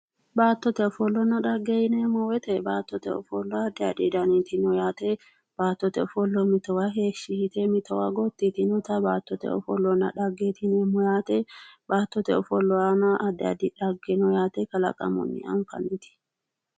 Baattote ofollanna dhage, baattote ofollanna dhahe yineemmo woyte addi addi danniti noo yaate, baattote ofolla mittowa heeshshi mittowa gotti yitinotta baattote ofollanna dhage yineemmo ,baattote ofolle aana addi addi dhage noo yaate kalaqamuni nooti